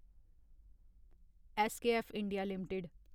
SKF India limited